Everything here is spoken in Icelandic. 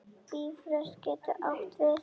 Bifröst getur átt við